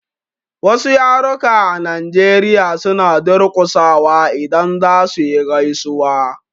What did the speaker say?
Wasu yaruka a Nigeria suna durƙusawa idan za suyi gaisuwa.